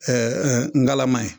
Ɛɛ ɛɛ ngalama ye